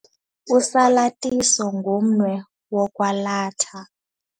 Usalathiso ngumnwe wokwalatha.